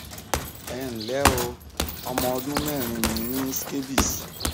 ẹ ǹ lẹ o ọmọ ọdún mẹrin mi ní scabies